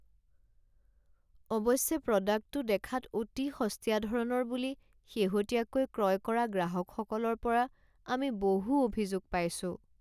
অৱশ্যে প্ৰডাক্টটো দেখাত অতি সস্তীয়া ধৰণৰ বুলি শেহতীয়াকৈ ক্ৰয় কৰা গ্ৰাহকসকলৰ পৰা আমি বহু অভিযোগ পাইছো।